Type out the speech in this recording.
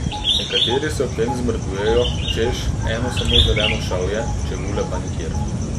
Nekateri se ob tem sicer zmrdujejo, češ, eno samo zeleno šavje, čebule pa nikjer.